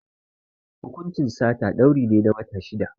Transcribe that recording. Hukuncin sata, dauri ne na wata shida.